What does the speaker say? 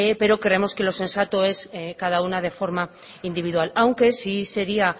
pero creemos que lo sensato es que cada una de forma individual aunque sí sería